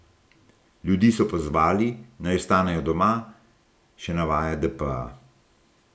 Ljudi so pozvali, naj ostanejo doma, še navaja dpa.